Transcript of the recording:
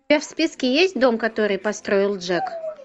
у тебя в списке есть дом который построил джек